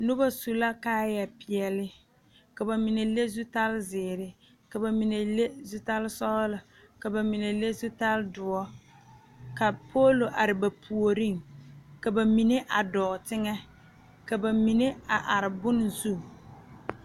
Noba su la kaayɛpeɛle ka ba mine le zutalzeere ka ba mine le zutalsɔglɔ ka ba mine le zutaldoɔ ka poolo are ba puoriŋ ka ba mine a dɔɔ teŋɛ ka ba min a are bone zu.